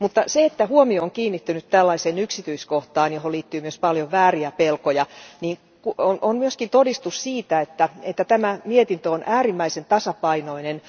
Se, että huomio on kiinnittynyt tällaiseen yksityiskohtaan, johon liittyy myös paljon vääriä pelkoja, on myös todistus siitä, että tämä mietintö on äärimmäisen tasapainoinen.